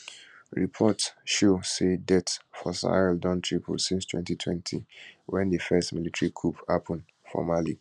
reports show say deaths for sahel don triple since 2020 wen di first military coup happun for mali